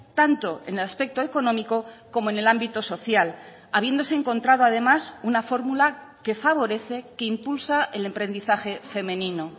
tanto en el aspecto económico como en el ámbito social habiéndose encontrado además una fórmula que favorece que impulsa el emprendizaje femenino